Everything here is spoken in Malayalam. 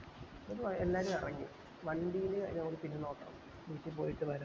ന്നപ്പോ എല്ലാരു എറങ്ങി വണ്ടിനെ നോക്കണം വീട്ടിൽ പോയിട്ട് വര